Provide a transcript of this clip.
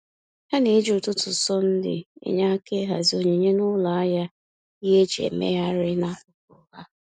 Ha na-eji ụtụtụ Sọnde enye aka ịhazi onyinye n’ụlọ ahịa ihe eji emegharịa n’akụkụ ha.